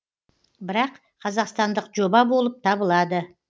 бірақ қазақстандық жоба болып табылады